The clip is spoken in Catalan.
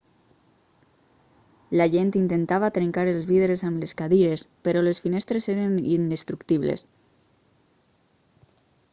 la gent intentava trencar els vidres amb les cadires però les finestres eren indestructibles